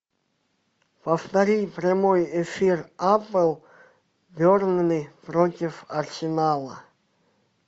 повтори прямой эфир апл бернли против арсенала